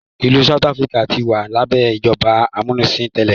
ilú south Africa tí wà labẹ ìjọba amunisin tẹlẹ.